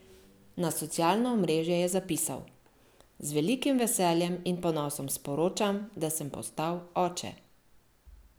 Na socialno omrežje je zapisal: "Z velikim veseljem in ponosom sporočam, da sem postal oče.